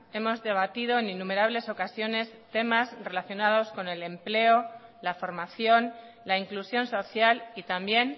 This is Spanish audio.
hemos debatido en innumerables ocasiones temas relacionados con el empleo la formación la inclusión social y también